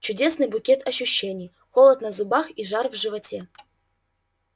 чудесный букет ощущений холод на зубах и жар в животе